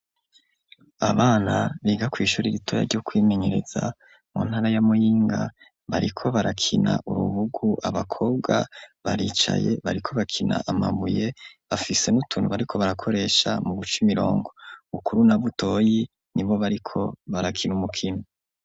Abana biga kw'ishuri ritoya ryo kwimenyereza, mu ntara ya Muyinga, bariko barakina urubugu; abakobwa baricaye, bariko bakina amabuye, bafise n'utunu bariko barakoresha mu guca imirongo; Bukuru na Butoyi ni bo bariko barakina umukino.